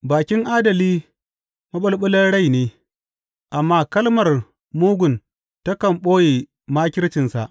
Bakin adali maɓulɓulan rai ne, amma kalmar mugun takan ɓoye makircinsa.